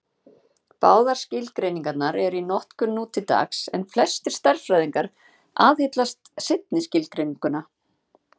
Báðar skilgreiningarnar eru í notkun nú til dags, en flestir stærðfræðingar aðhyllast seinni skilgreininguna.